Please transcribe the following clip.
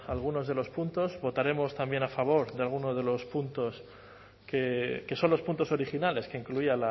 algunos de los puntos votaremos también a favor de algunos de los puntos que son los puntos originales que incluía